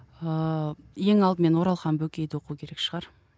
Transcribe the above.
ыыы ең алдымен оралхан бөкейді оқу керек шығар